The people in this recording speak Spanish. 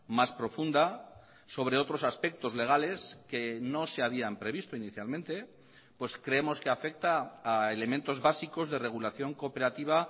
más profunda sobre otros aspectos legales que no se habían previsto inicialmente pues creemos que afecta a elementos básicos de regulación cooperativa